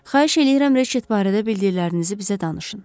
Xahiş eləyirəm, Reçet barədə bildirlərinizi bizə danışın.